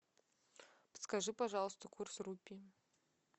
подскажи пожалуйста курс рупий